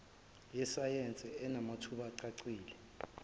yesayense enamathuba acacile